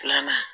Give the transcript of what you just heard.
Filanan